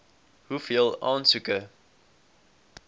hoeveel aansoeke